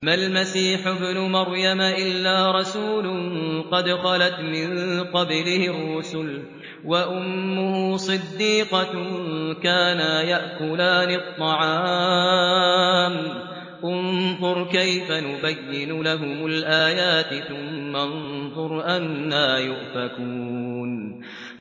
مَّا الْمَسِيحُ ابْنُ مَرْيَمَ إِلَّا رَسُولٌ قَدْ خَلَتْ مِن قَبْلِهِ الرُّسُلُ وَأُمُّهُ صِدِّيقَةٌ ۖ كَانَا يَأْكُلَانِ الطَّعَامَ ۗ انظُرْ كَيْفَ نُبَيِّنُ لَهُمُ الْآيَاتِ ثُمَّ انظُرْ أَنَّىٰ يُؤْفَكُونَ